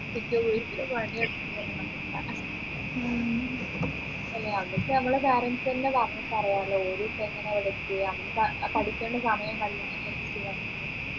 എന്നിട്ട് വീട്ടിൽ പണിയെടുക്കണമെന്ന് എന്നിട്ട് നമ്മളെ parents നെ ഓരിപ്പോ എങ്ങനെ ഇവിടെ എത്തിയെ ഇപ്പോ പഠിക്കേണ്ട സമയമല്ല